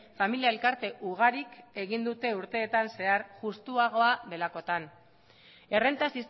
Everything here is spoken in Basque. familia elkarte ugarik egin dute urteetan zehar justuagoa delakotan errenta